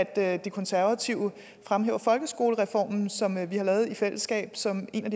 at de konservative fremhæver folkeskolereformen som vi har lavet i fællesskab som en af